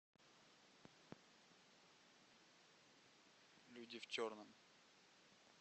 люди в черном